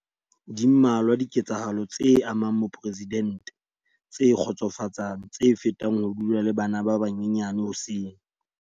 Di mmalwa dike tsahalo tse amang moporesidente tse kgotsofatsang tse fetang ho dula le bana ba banyenyane hoseng.